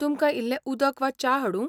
तुमकां इल्लें उदक वा च्या हाडूं ?